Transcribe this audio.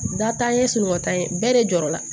Datan ye suruntan ye bɛɛ de jɔra